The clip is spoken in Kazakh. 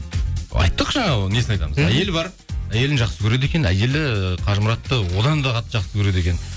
айттық жаңа несін айтамыз әйелі бар әйелін жақсы көреді екен әйелі қажымұратты одан да қатты жақсы көреді екен